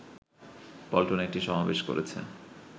পল্টনে একটি সমাবেশ করেছে